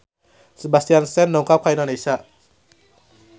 Sebastian Stan dongkap ka Indonesia